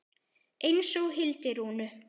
Eins og Hildi Rúnu.